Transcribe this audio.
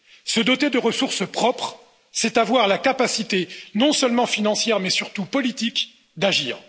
Se doter de ressources propres, c'est avoir la capacité, non seulement financière mais surtout politique, d'agir.